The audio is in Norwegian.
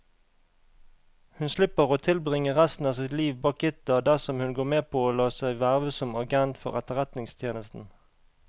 Hun slipper å tilbringe resten av sitt liv bak gitter dersom hun går med på å la seg verve som agent for etterretningstjenesten.